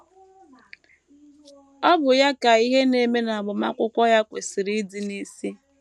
Ọ bụ ya ka ihe na - eme n’agbamakwụkwọ ya kwesịrị ịdị n’isi.